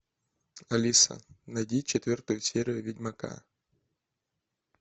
алиса найди четвертую серию ведьмака